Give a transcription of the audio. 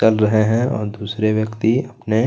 कर रहे हैं और दूसरे व्यक्ति अपने--